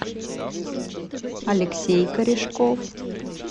алексей корешков